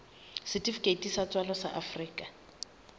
setifikeiti sa tswalo sa afrika